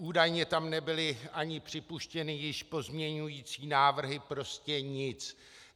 Údajně tam nebyly ani připuštěny již pozměňující návrhy, prostě nic.